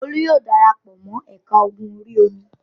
Olú yóò dara pọ̀ mọ́ ẹ̀ka ogun orí-omi.